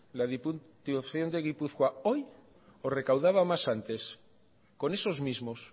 la diputación de gipuzkoa hoy o recaudaba más antes con esos mismos